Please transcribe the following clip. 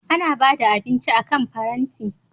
Ana ba da abinci akan faranti.